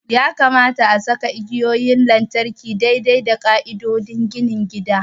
Ya kamata a saka igiyoyin lantarki daidai da ƙa'idodin ginin gida.